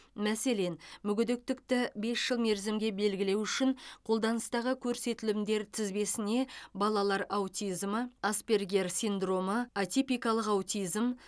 мәселен мүгедектікті бес жыл мерзімге белгілеу үшін қолданыстағы көрсетілімдер тізбесіне балалар аутизмі аспергер синдромы атипикалық аутизм